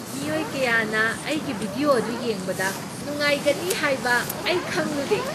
ꯃꯤꯑꯣꯏ ꯀꯌꯥꯅ ꯑꯩꯒꯤ ꯚꯤꯗꯤꯑꯣ ꯑꯗꯨ ꯌꯦꯡꯕꯗ ꯅꯨꯡꯉꯥꯏꯒꯅꯤ ꯍꯥꯏꯕ ꯑꯩ ꯈꯪꯂꯨꯗꯦ!